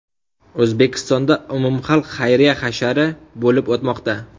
O‘zbekistonda umumxalq xayriya hashari bo‘lib o‘tmoqda.